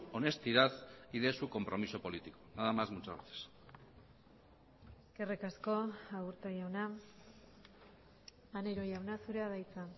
honestidad y de su compromiso político nada más muchas gracias eskerrik asko aburto jauna maneiro jauna zurea da hitza